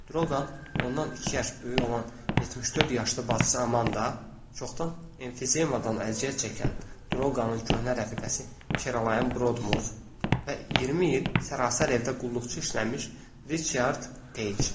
Drougan, ondan iki yaş böyük olan 74 yaşlı bacısı Amanda, çoxdan emfizemadan əziyyət çəkən Drouganın köhnə rəfiqəsi Kralaya Rodmor və 20 il sərrasər evdə qulluqçu işləmiş Riçard Deyç.